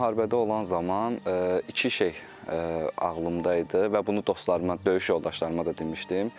Müharibədə olan zaman iki şey ağlımda idi və bunu dostlarıma, döyüş yoldaşlarıma da demişdim.